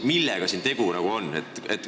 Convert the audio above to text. Millega siin tegu on?